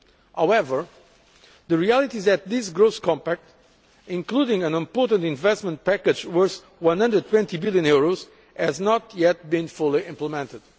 However, the reality is that this Growth Compact, including an important investment package worth EUR 120 billion, has not yet been fully implemented.